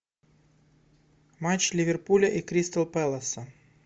матч ливерпуля и кристал пэласа